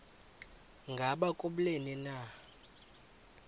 ngaba kubleni na